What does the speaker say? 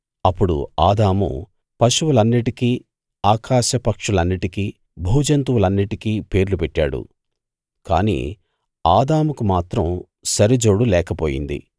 అప్పుడు ఆదాము పశువులన్నిటికీ ఆకాశపక్షులన్నిటికీ భూజంతువులన్నిటికీ పేర్లు పెట్టాడు కాని ఆదాముకు మాత్రం సరిజోడు లేకపోయింది